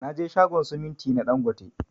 Naje shagon siminti na ɗangote.